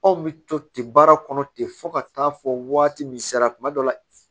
Anw bɛ to ten baara kɔnɔ ten fɔ ka taa fɔ waati min sera kuma dɔ la